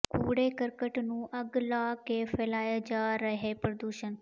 ਕੂੜੇ ਕਰਕਟ ਨੂੰ ਅੱਗ ਲਾ ਕੇ ਫ਼ੈਲਾਇਆ ਜਾ ਰਿਹੈ ਪ੍ਰਦੂਸ਼ਣ